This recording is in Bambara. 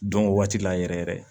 Don o waati la yɛrɛ yɛrɛ